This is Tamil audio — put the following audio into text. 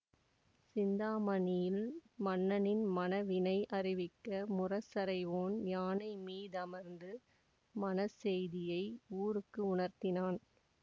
சிந்தாமணியில் மன்னனின் மணவினை அறிவிக்க முரசறைவோன் யானை மீதமர்ந்து மணச் செய்தியை ஊருக்கு உணர்த்தினான்